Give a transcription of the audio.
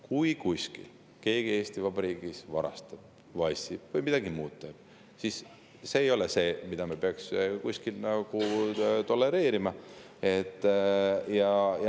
Kui kuskil Eesti Vabariigis keegi varastab, vassib või midagi muud sellist teeb, siis see ei ole midagi, mida me peaks kuskil tolereerima.